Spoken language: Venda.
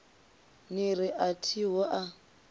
ni ri a thiho a